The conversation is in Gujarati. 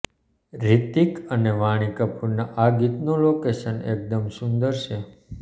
રિતિક અને વાણી કપૂરના આ ગીતનું લોકેશન એકદમ સુંદર છે